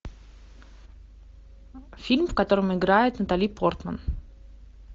фильм в котором играет натали портман